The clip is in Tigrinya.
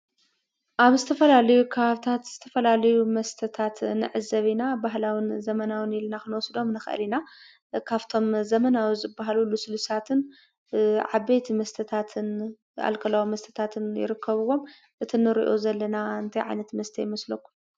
ኣብ ዝተፈላለዩ ከባቢታት ዝተፈላለዩ መስተታትን ንዕዘብ ኢና። ባህላውን ዘበናውን ኢልና ክንወስዶም ንኽእል ኢና ። ካፍቶም ዘመናዊ ዝበሃሉ ልስሉሳትን ዓበይቲ መስተታትን ኣለኮላዊ መስተታትን ይርከብዎም ፡፡እቲ ንሪኦ ዘለና እንታይ ዓይነት መስተ ይመስለኩም ?